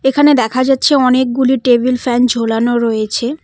এখানে দেখা যাচ্ছে অনেকগুলি টেবিল ফ্যান ঝোলানো রয়েছে।